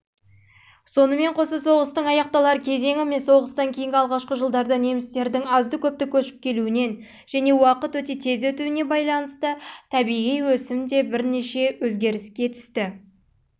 сонымен қоса соғыстың аяқталар кезеңі мен соғыстан кейінгі алғашқы жылдарда немістердің азды-көпті көшіп келуінен және уақыт өте табиғи